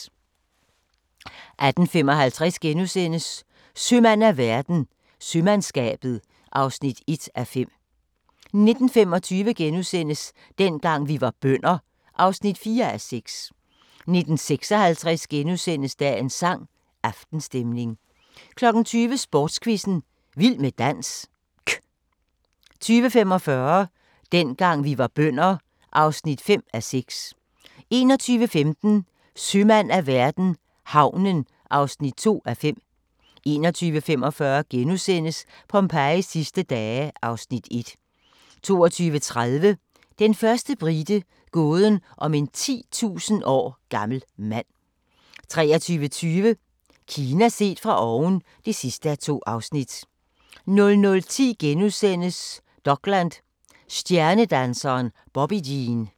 18:55: Sømand af verden – Sømandskabet (1:5)* 19:25: Dengang vi var bønder (4:6)* 19:56: Dagens sang: Aftenstemning * 20:00: Sprogquizzen - vild med dansk 20:45: Dengang vi var bønder (5:6) 21:15: Sømand af verden - havnen (2:5) 21:45: Pompejis sidste dage (Afs. 1)* 22:30: Den første brite – gåden om en 10.000 år gammel mand 23:20: Kina set fra oven (2:2) 00:10: Dokland: Stjernedanseren Bobbi Jene *